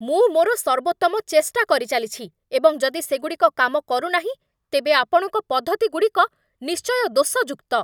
ମୁଁ ମୋର ସର୍ବୋତ୍ତମ ଚେଷ୍ଟା କରିଚାଲିଛି, ଏବଂ ଯଦି ସେଗୁଡ଼ିକ କାମ କରୁନାହିଁ ତେବେ ଆପଣଙ୍କ ପଦ୍ଧତିଗୁଡ଼ିକ ନିଶ୍ଚୟ ଦୋଷଯୁକ୍ତ ।